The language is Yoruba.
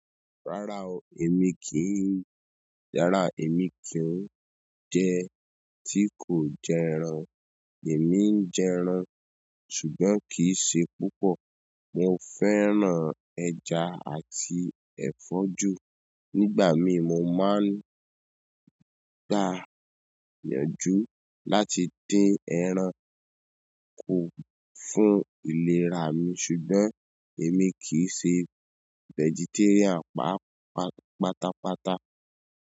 Rárá o, èmi kì í, rárá èmi kì í jẹ́ tí kò jẹ ẹran. Èmi ń jẹ ẹran ṣùgbọ́n kì í ṣe púpọ̀. Mo fẹ́ràn ẹ̀ja àti ẹ̀fọ́ ju. Nígbà mii mo máa ń gba ìyànjú láti dín ẹran kù fún ìlera mi ṣùgbọ́n èmi kì í ṣe vegetarian pátápátá.